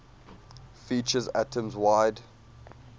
features atoms wide